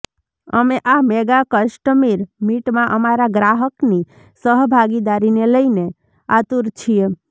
અમે આ mega customer મીટમાં અમારાં ગ્રાહકની સહભાગીદારીને લઈને આતુર છીએ